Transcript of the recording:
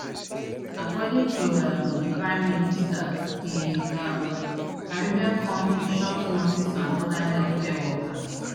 according to um di prime minister di um caribbean kontri short nurses and oda healthcare workers